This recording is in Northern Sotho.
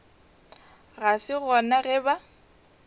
ga se gona ge ba